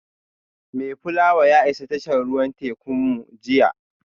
Mayflower ya isa tashar ruwan tekunmu jiya